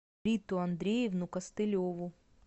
риту андреевну костылеву